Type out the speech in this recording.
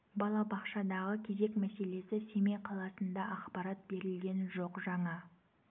балабақшадағы кезек мәселесі семей қаласында ақпарат берілген жоқ жаңа